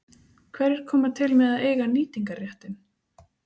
Hverjir koma til með að eiga nýtingarréttinn?